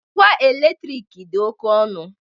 Ngwa eletrik dị oke ọnụ